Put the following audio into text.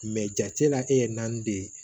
jate la e ye naani de ye